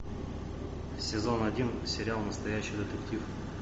сезон один сериал настоящий детектив